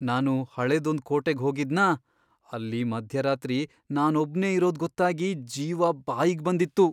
ನಾನು ಹಳೇದೊಂದ್ ಕೋಟೆಗ್ ಹೋಗಿದ್ನಾ, ಅಲ್ಲಿ ಮಧ್ಯರಾತ್ರಿ ನಾನೊಬ್ನೇ ಇರೋದ್ ಗೊತ್ತಾಗಿ ಜೀವ ಬಾಯಿಗ್ಬಂದಿತ್ತು.